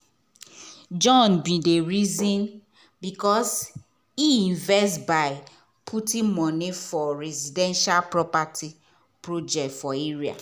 john bin dey reason balance e investment by putting moni for residential property project for area